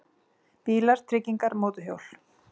BÍLAR, TRYGGINGAR, MÓTORHJÓL